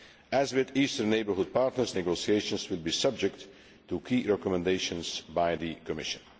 As with eastern neighbourhood partners, negotiations will be subject to key recommendations by the Commission.